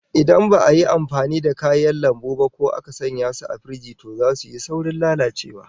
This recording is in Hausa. Idan ba'a yi amfani da kayan lambu ba ko aka sanya su a firiji, to zasu yi saurin lalacewa